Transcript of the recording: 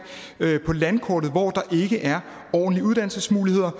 på landkortet hvor der ikke er ordentlige uddannelsesmuligheder